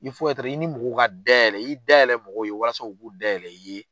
i ni mɔgɔw ka da yɛlɛ, i da yɛlɛ mɔgɔw ye walasa u k'u da yɛlɛ i ye